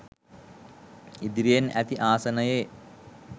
ඉදිරියෙන් ඇති ආසනයේ